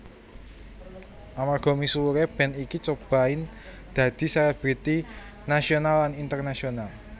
Amarga misuwure band iki Cobain dadi selebriti nasional lan internasional